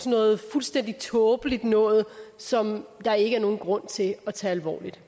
noget fuldstændig tåbeligt noget som der ikke er nogen grund til at tage alvorligt